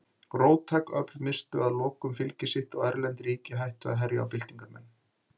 Róttæk öfl misstu að lokum fylgi sitt og erlend ríki hættu að herja á byltingarmenn.